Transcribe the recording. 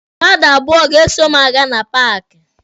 Mmadụ abụọ ga-eso m aga na paaki.